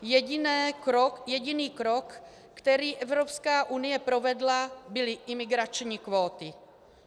Jediný krok, který Evropská unie provedla, byly imigrační kvóty.